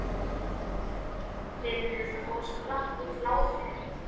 Ég heyrði orðaskiptin og sprakk úr hlátri.